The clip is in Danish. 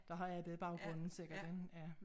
Der har arbejdet i baggrunden sikkert ik ja